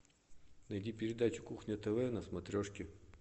найди передачу кухня тв на смотрешке